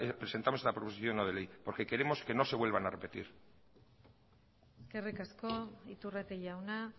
presentamos esta proposición no de ley porque queremos que no se vuelvan a repetir eskerrik asko iturrate jauna